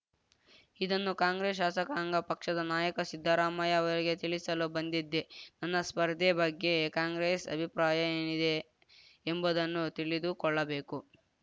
ಇದನ್ನು ಕಾಂಗ್ರೆಸ್‌ ಶಾಸಕಾಂಗ ಪಕ್ಷದ ನಾಯಕ ಸಿದ್ದರಾಮಯ್ಯ ಅವರಿಗೆ ತಿಳಿಸಲು ಬಂದಿದ್ದೆ ನನ್ನ ಸ್ಪರ್ಧೆ ಬಗ್ಗೆ ಕಾಂಗ್ರೆಸ್‌ ಅಭಿಪ್ರಾಯ ಏನಿದೆ ಎಂಬುದನ್ನು ತಿಳಿದುಕೊಳ್ಳಬೇಕು